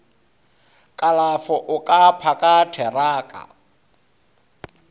kalafo o ka phaka theraka